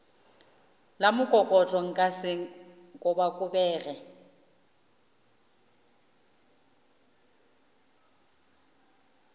la mokokotlo nka se kobakobege